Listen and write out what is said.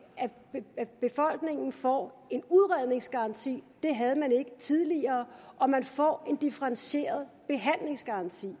at befolkningen får en udredningsgaranti det havde man ikke tidligere og at man får en differentieret behandlingsgaranti